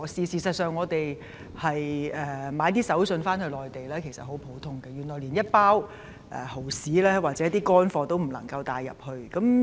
事實上，以往購買手信回內地十分普遍，但現在連一包蠔豉等乾貨也不能入境。